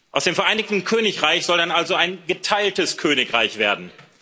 Aus dem Vereinigten Königreich soll dann also ein geteiltes Königreich werden.